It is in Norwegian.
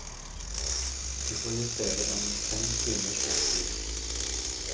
De får i stedet en fem timers busstur.